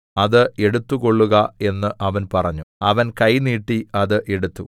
അത് എടുത്തുകൊള്ളുക എന്ന് അവൻ പറഞ്ഞു അവൻ കൈ നീട്ടി അത് എടുത്തു